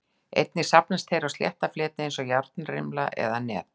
Einnig safnast þeir á slétta fleti eins og járnrimla eða net.